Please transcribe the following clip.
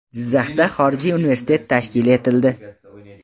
Jizzaxda xorijiy universitet tashkil etildi.